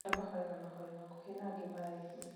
amwe mahoyaga mahoya makuhĩ na angĩ maraihu